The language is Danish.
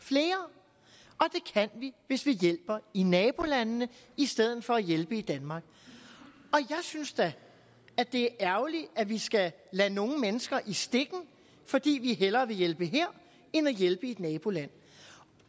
flere og vi hvis vi hjælper i nabolandene i stedet for at hjælpe i danmark jeg synes da det er ærgerligt at vi skal lade nogle mennesker i stikken fordi vi hellere vil hjælpe her end at hjælpe i et naboland